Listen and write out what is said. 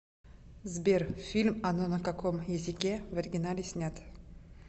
сбер фильм оно на каком язике в оригинале снят